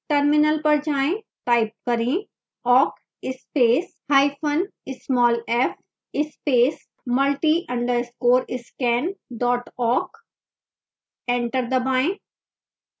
terminal पर जाएं type करें awk space hyphen small f space multi underscore scan dot awk enter दबाएं